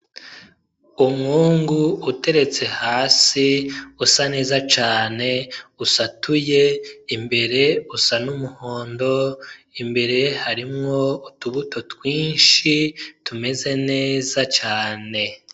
Umwungu uteretse hasi, usa neza cane. Usatuye, imbere usa n'umuhondo, imbere harimwo utubuto twinshi tumeze neza cane.